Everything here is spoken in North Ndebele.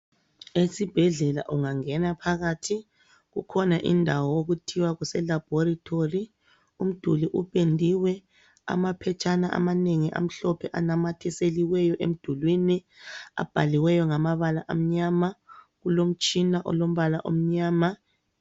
Esibhedlela ungangena phakathi, kukhona indawo okuthiwa kuse laboratory. Umduli upendiwe, amaphetshana amanengi amhlophe anamathiseliweyo emdulini, abhaliweyo ngamabala amnyama, kulomtshina olombala omnyama.